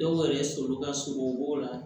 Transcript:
Dɔw yɛrɛ sɔli ka surun u b'o la